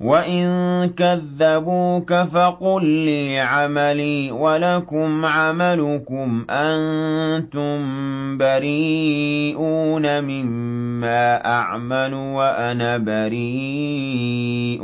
وَإِن كَذَّبُوكَ فَقُل لِّي عَمَلِي وَلَكُمْ عَمَلُكُمْ ۖ أَنتُم بَرِيئُونَ مِمَّا أَعْمَلُ وَأَنَا بَرِيءٌ